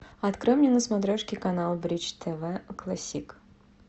открой мне на смотрешке канал бридж тв классик